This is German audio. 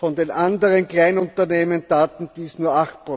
Von den anderen Kleinunternehmen taten dies nur